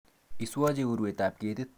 Iswoche urwetab ketit